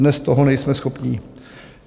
Dnes toho nejsme schopni.